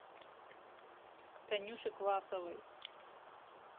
танюше квасовой